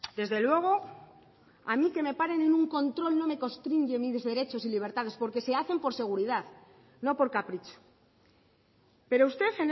desde luego a mí que me paren en un control no me constriñe mis derechos y libertades porque se hacen por seguridad no por capricho pero usted